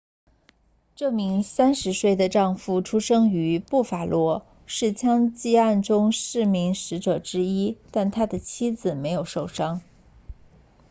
这名30岁的丈夫出生于布法罗是枪击案中的四名死者之一但他的妻子没有受伤